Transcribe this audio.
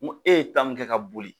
N ko e ye min kɛ ka boli